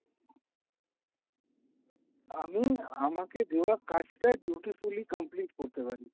আমি আমাকে দেওয়া কাজটা dutifully complete করতে পারি।